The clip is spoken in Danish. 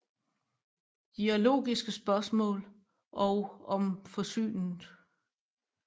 De er Logiske spørgsmål og Om forsynet